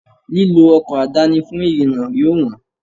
Lílọ ọkọ̀ àdáni fún ìrìnà yóò wọn.